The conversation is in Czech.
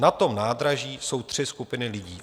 Na tom nádraží jsou tři skupiny lidí.